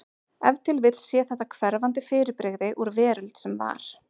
Ef til vill sé þetta hverfandi fyrirbrigði úr veröld sem var.